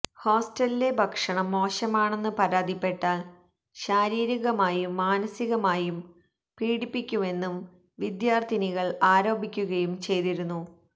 ഹോസ്റ്റലിലെ ഭക്ഷണം മോശമാണെന്ന് പരാതിപ്പെട്ടാൽ ശാരീരികമായും മാനസികമായും പീഡിപ്പിക്കുമെന്നും വിദ്യാർത്ഥിനികൾ ആരോപിക്കുകയും ചെയ്തിരുന്നു